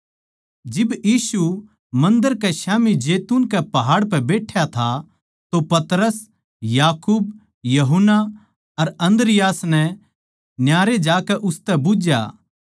जिब यीशु मन्दर कै स्याम्ही जैतून कै पहाड़ पै बैठ्या था तो पतरस याकूब यूहन्ना अर अन्द्रियास नै न्यारे जाकै उसतै बुझ्झया